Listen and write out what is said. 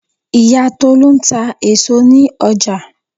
Ìyá Tolu ń ta èso ní ọjà.